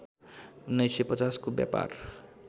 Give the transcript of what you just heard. १९५० को व्यापार